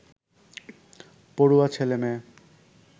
পড়ুয়া ছেলেমেয়ে